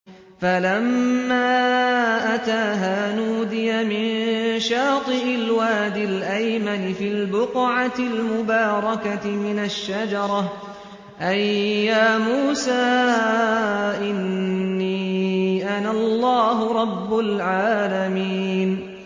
فَلَمَّا أَتَاهَا نُودِيَ مِن شَاطِئِ الْوَادِ الْأَيْمَنِ فِي الْبُقْعَةِ الْمُبَارَكَةِ مِنَ الشَّجَرَةِ أَن يَا مُوسَىٰ إِنِّي أَنَا اللَّهُ رَبُّ الْعَالَمِينَ